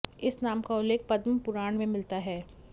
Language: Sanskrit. इस नाम का उल्लेख पद्म पुराण में मिलता है